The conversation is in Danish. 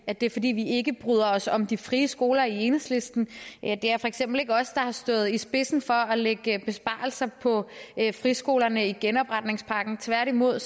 at det er fordi vi ikke bryder os om de frie skoler i enhedslisten det er for eksempel ikke os der har stået i spidsen for at lægge besparelser på friskolerne i genopretningspakken tværtimod